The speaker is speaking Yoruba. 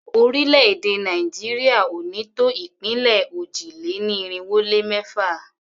Orílẹ̀-èdè Nàìjíríà ò ní tó ìpínlẹ̀ òjì-lé-ní-irinwó-lé-mẹ́fà.